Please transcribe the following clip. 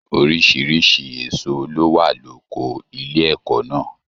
Oríṣiríṣi èso ló wà loko ilé ẹ̀kọ́ náà.